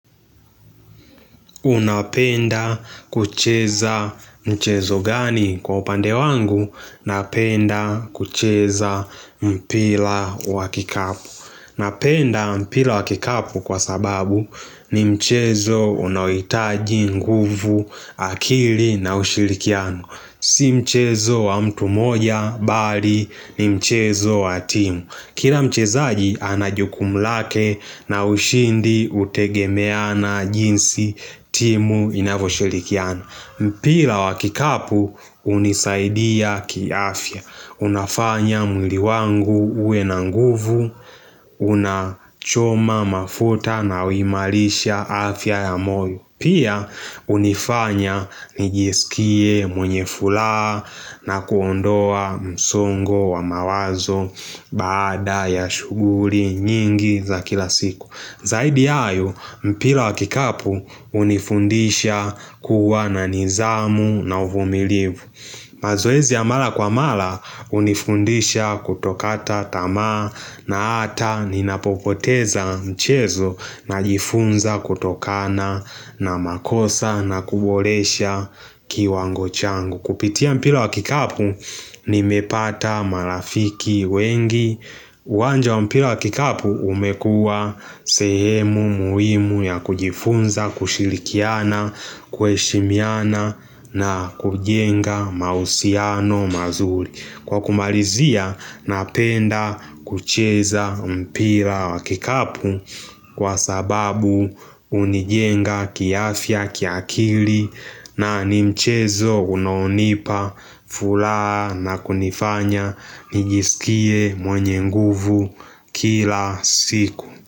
Unapenda kucheza mchezo gani kwa upande wangu napenda kucheza mpira wa kikapu Napenda mpira wa kikapu kwa sababu ni mchezo unaohitaji nguvu akili na ushirikiano Si mchezo wa mtu moja bali ni mchezo wa timu Kila mchezaji ana jukumu lake na ushindi hutegemea na jinsi timu inavyoshirikiana mpira wa kikapu hunisaidia kiafya Unafanya mwili wangu uwe na nguvu Unachoma mafuta na huimarisha afya ya moyo Pia hunifanya nijiskie mwenye furaha na kuondoa msongo wa mawazo baada ya shughuli nyingi za kila siku Zaidi ya hayo mpira wa kikapu hunifundisha kuwa na nidhamu na uvumilivu mazoezi ya mara kwa mara hunifundisha kutokata tamaa na hata ninapopoteza mchezo Najifunza kutokana na makosa na kuboresha kiwango chango Kupitia mpira wa kikapu nimepata marafiki wengi uwanja wa mpila wa kikapu umekua sehemu muhimu ya kujifunza, kushirikiana, kuheshimiana na kujenga mahusiano mazuri Kwa kumalizia napenda kucheza mpira wa kikapu kwa sababu hunijenga kiafya kiakili na ni mchezo unaonipa furaha na kunifanya nijiskie mwenye nguvu kila siku.